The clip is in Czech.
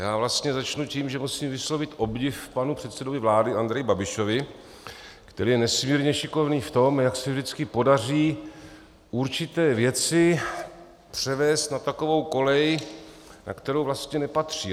Já vlastně začnu tím, že musím vyslovit obdiv panu předsedovi vlády Andreji Babišovi, který je nesmírně šikovný v tom, jak se vždycky podaří určité věci převést na takovou kolej, na kterou vlastně nepatří.